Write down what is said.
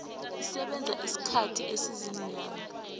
isebenza isikhathi esiziinyanga